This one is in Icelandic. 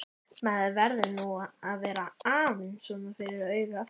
Maður verður nú að vera aðeins svona fyrir augað!